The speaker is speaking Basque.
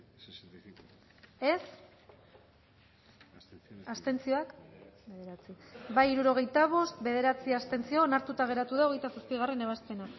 dezakegu bozketaren emaitza onako izan da hirurogeita hamalau eman dugu bozka hirurogeita bost boto aldekoa bederatzi abstentzio onartuta geratu da hogeita zazpigarrena ebazpena